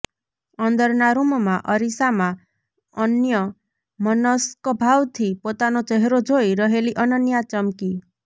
અંદરનાં રૂમમાં અરીસામાં અન્યમનસ્કભાવથી પોતાનો ચહેરો જોઈ રહેલી અનન્યા ચમકી